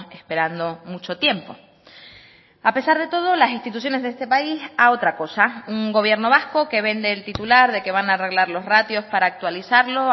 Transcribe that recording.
esperando mucho tiempo a pesar de todo las instituciones de este país a otra cosa un gobierno vasco que vende el titular de que van a arreglar los ratios para actualizarlo